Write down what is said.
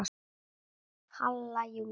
Halla Júlía.